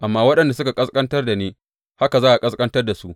Amma waɗanda suke ƙasƙantar da ni, haka za a ƙasƙantar da su.